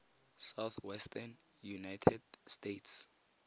southwestern united states